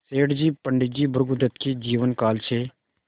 सेठ जी पंडित भृगुदत्त के जीवन काल से